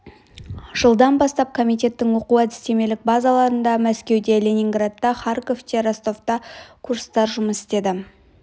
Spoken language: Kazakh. жылдан бастап комитеттің оқу-әдістемелік базаларында мәскеуде ленинградта харьковте ростовта курстар жұмыс істеді